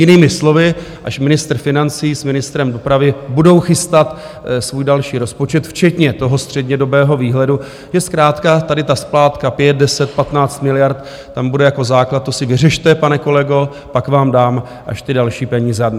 Jinými slovy, až ministr financí s ministrem dopravy budou chystat svůj další rozpočet včetně toho střednědobého výhledu, že zkrátka tady ta splátka 5, 10, 15 miliard tam bude jako základ - to si vyřešte, pane kolego, pak vám dám až ty další peníze.